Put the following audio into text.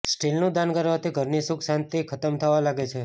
સ્ટીલનું દાન કરવાથી ઘરની સુખ શાંતિ ખતમ થવા લાગે છે